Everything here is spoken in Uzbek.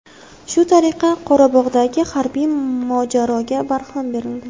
Shu tariqa Qorabog‘dagi harbiy mojaroga barham berildi.